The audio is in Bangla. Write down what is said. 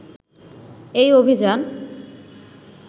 “এই অভিযান